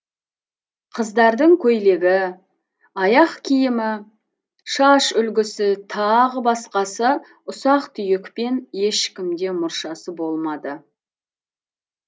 қыздардың көйлегі аяқ киімі шаш үлгісі тағы басқасы ұсақ түйекпен ешкімде мұршасы болмады